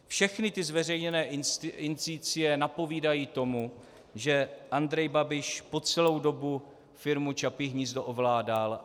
Všechny ty zveřejněné indicie napovídají tomu, že Andrej Babiš po celou dobu firmu Čapí hnízdo ovládal.